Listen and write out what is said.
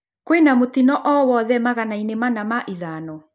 Kwĩna mũtino owothe magana-inĩ manaa ma ithano